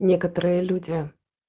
некоторые люди